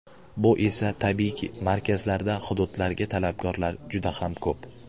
Bu esa, tabiiyki, markazlarda hududlarga talabgorlar juda ham ko‘p.